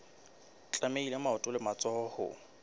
tlamehile maoto le matsoho ho